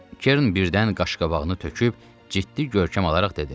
Kern birdən qaşqabağını töküb ciddi görkəm alaraq dedi: